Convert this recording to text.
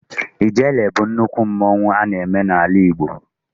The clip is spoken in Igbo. Ijele bụ nnukwu mmanwụ a na-eme n'ala Igbo.